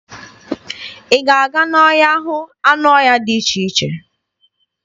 Ị ga-aga n'ọhịa hụ anụ ọhịa dị iche iche?